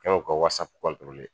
U kɛmɛ k'u ka